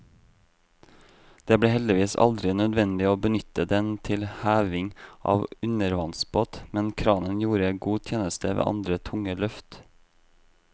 Det ble heldigvis aldri nødvendig å benytte den til heving av undervannsbåt, men kranen gjorde god tjeneste ved andre tunge løft.